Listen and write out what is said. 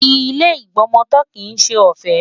Ilé ìgbọmọtọ́ kìí ṣe ọ̀fẹ́.